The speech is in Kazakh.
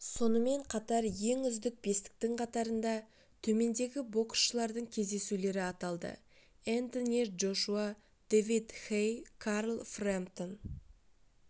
сонымен қатар ең үздік бестіктің қатарында төмендегі боксшылардың кездесулері аталды энтони джошуа дэвид хэй карл фрэмптон